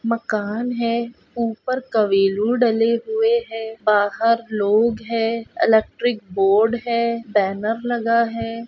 मकान है ऊपर कवेलु डले हुए है बाहर लोग है इलेक्ट्रिक बोर्ड है बैनर लगा है।